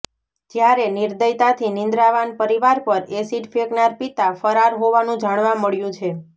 જ્યારે નિર્દયતાથી નિદ્રાવાન પરિવાર પર એસિડ ફેંકનાર પિતા ફરાર હોવાનું જાણવા મળ્યું છે